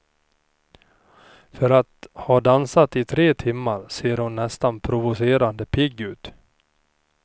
För att ha dansat i tre timmar ser hon nästan provocerande pigg ut.